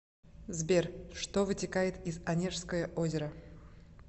сбер что вытекает из онежское озеро